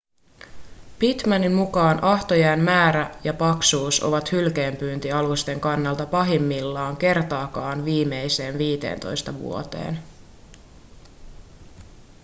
pittmanin mukaan ahtojään määrä ja paksuus ovat hylkeenpyyntialusten kannalta pahimmillaan kertaakaan viimeisteen 15 vuoteen